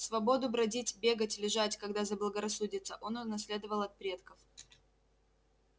свободу бродить бегать лежать когда заблагорассудится он унаследовал от предков